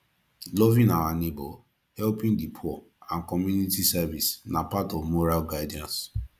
loving our neighbour helping di poor and community service na part of moral guidance